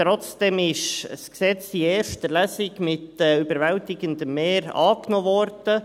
Trotzdem wurde das Gesetz in erster Lesung mit überwältigendem Mehr angenommen.